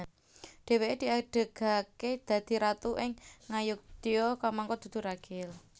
Dhèwèké diadegaké dadi ratu ing Ngayodya kamangka dudu ragil